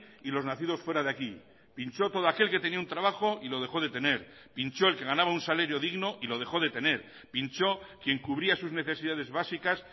y los nacidos fuera de aquí pinchó todo aquel que tenía un trabajo y lo dejó de tener pinchó el que ganaba un salario digno y lo dejó de tener pinchó quien cubría sus necesidades básicas